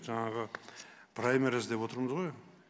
жаңағы праймериз деп отырмыз ғой